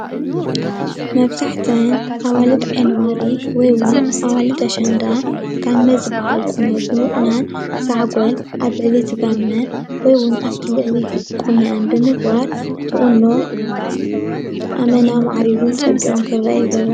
እዚ ምስሊ ኣዋልድ ዓይኒ ዋሪ፣ ኣሸንዳ ዝቁነነኦ ጋመ ዝበሃል ቁኖ እዩ።